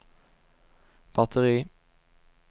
batteri